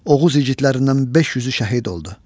Oğuz igidlərindən 500-ü şəhid oldu.